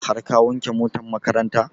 Har ka wanke motan makaranta?